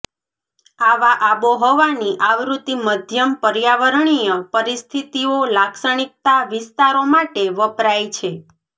આવા આબોહવાની આવૃત્તિ મધ્યમ પર્યાવરણીય પરિસ્થિતિઓ લાક્ષણિકતા વિસ્તારો માટે વપરાય છે